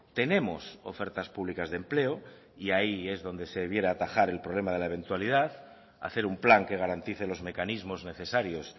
tenemos ofertas públicas de empleo y ahí es donde se debiera atajar el problema de la eventualidad hacer un plan que garantice los mecanismos necesarios